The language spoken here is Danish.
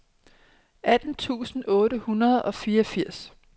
atten tusind otte hundrede og fireogfirs